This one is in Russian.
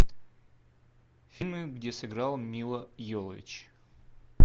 фильмы где сыграла мила йовович